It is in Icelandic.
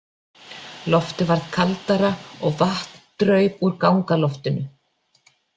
Loftið varð kaldara og vatn draup úr gangaloftinu.